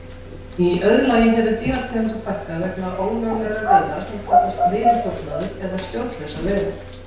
Í öðru lagi hefur dýrategundum fækkað vegna ólöglegra veiða sem kallast veiðiþjófnaður eða stjórnlausar veiðar.